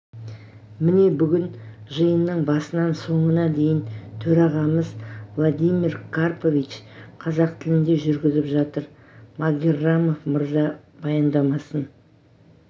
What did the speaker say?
міне бүгін жиынның басынан соңына дейін төрағамыз владимир карпович қазақ тілінде жүргізіп жатыр магеррамов мырза баяндамасын